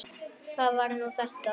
Hvað var nú þetta?